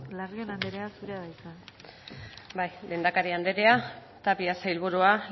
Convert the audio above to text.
larrion andrea zurea da hitza bai lehendakari andrea tapia sailburua